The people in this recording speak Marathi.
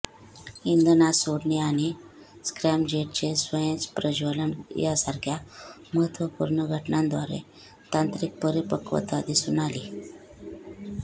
इंधन आत सोडणे आणि स्क्रॅमजेटचे स्वयं प्रज्वलन यासारख्या महत्वपूर्ण घटनांद्वारे तांत्रिक परिपक्वता दिसून आली